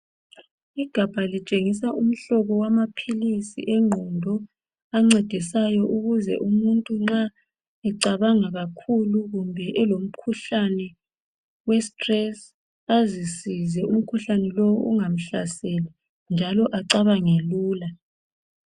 Igabha litshengisa umhlobo wamaphilisi engqondo ancedisayo ukuze umuntu nxa ucabanga kakhulu kumbe elomkhuhlane westress azisize umkhuhlane lo ungamhlasela njalo acabange lula.